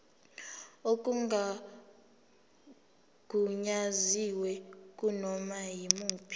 okungagunyaziwe kunoma yimuphi